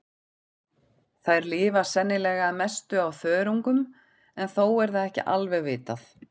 Þær lifa sennilega að mestu á þörungum en þó er það ekki alveg vitað.